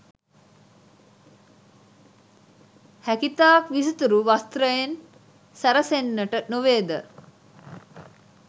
හැකිතාක් විසිතුරු වස්ත්‍රයෙන් සැරසෙන්නට නොවේද?